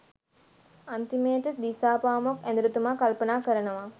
අන්තිමේට දිසාපාමොක් ඇදුරුතුමා කල්පනා කරනවා